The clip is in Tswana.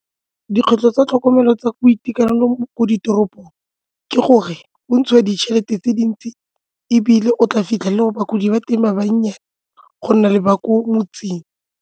Dikgwetlho tsa tlhokomelo tsa boitekanelo mo ditoropong ke gore go ntshiwe ditšhelete tse dintsi ebile o tla fitlhelele go bagodi ba teng ba bannye go nna le ba ko motseng.